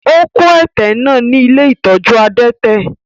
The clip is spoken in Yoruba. Ó kó ẹ̀tẹ̀ ní ilé ìtọ́jú adẹ́tẹ̀.